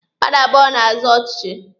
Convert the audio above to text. Mmadụ abụọ na-azọ ọchịchị.